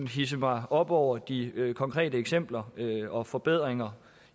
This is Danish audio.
hidse mig op over de konkrete eksempler og forbedringer